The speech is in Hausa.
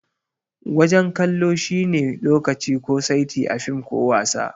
Wajen kallo shi ne lokaci ko saiti a fim ko wasa.